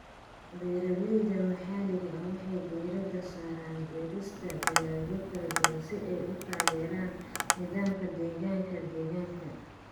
Beeralayda maxalliga ah waxay diiradda saaraan beerista dalagyo kala duwan si ay u taageeraan nidaamka deegaanka deegaanka.